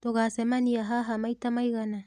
Tũgũcemania haha maita maigana?